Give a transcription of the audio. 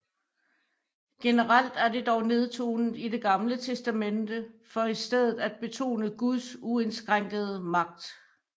Generelt er det dog nedtonet i Det Gamle Testamente for i stedet at betone Guds uindskrænkede magt